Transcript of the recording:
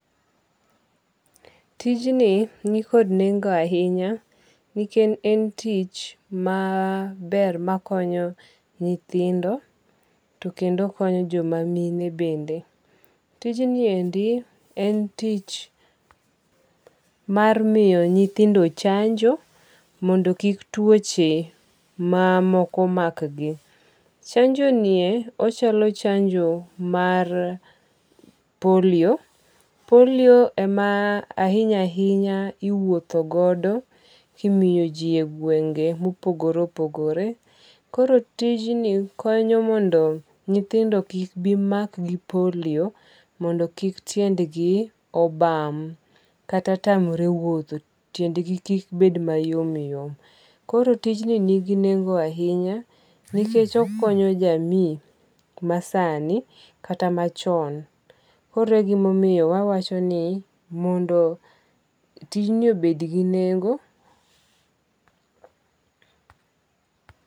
Tijni ni kod nengo ahinya nikech en tich maber makonyo nyithindo to kendo konyo joma mine bende. Tijni endi en tich mar miyo nyithindo chanjo mondo kik tuoche mamoko mak gi. Chanjo nie ochalo chanjo mar poliyo. Poliyo e ma ahinya ahinya iwuotho godo kimiyo gwenge mopogore opogore. Koro tijni konyo mondo nyithindo kik bi mak gi poliyo mondo kik tiendgi obam kata tamre wuotho. Tiendgi kik bed mayom yom. Koro tijni ningi nengo ahinya nikech okonyo ja NIF masani kata machon. Koro e gimamoyo wawacho ni mondo tijni obed gi nengo...